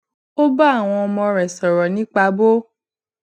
ó bá àwọn ọmọ rè sòrò nípa bó